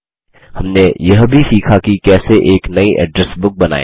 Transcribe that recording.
हमने यह भी सीखा कि कैसे एक नयी एड्रेस बुक बनाएँ